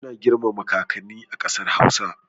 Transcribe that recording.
Ana girmama kakanni a ƙasar hausa